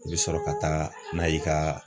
E be sɔrɔ ka taa n'a ye e ka